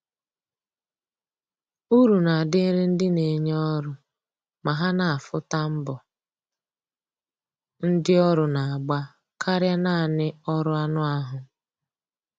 Uru na adịrị ndị na enye ọrụ ma ha na afụ ta mbọ ndi ọrụ na agba karịa naanị ọrụ anụ ahụ